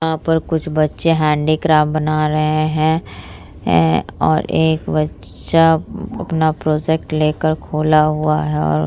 यहाँ पे कुछ बच्चे हेंडीक्राफ्ट बना रहे है और एक बच्चा अपना प्रोजेक्ट लेकर खोला हुआ है और --